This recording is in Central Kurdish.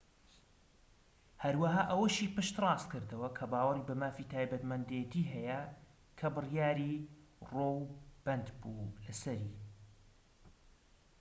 هەروەها ئەوەشی پشت ڕاستکردەوە کە باوەڕی بە مافی تایبەتمەندێتی هەیە کە بڕیاری ڕۆو بەندبوو لەسەری